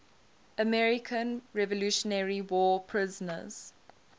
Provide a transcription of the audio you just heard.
american revolutionary war prisoners